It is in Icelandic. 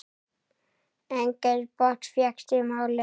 Enginn botn fékkst í málið.